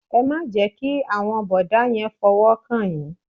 Ẹ má jẹ́ kí àwọn bọ̀dá yẹn fọwọ́ kàn yín.